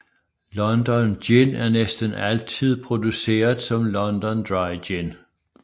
London Gin er næsten altid produceret som London Dry Gin